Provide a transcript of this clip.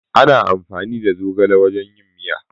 Ana amfani da zogale wajen yin miya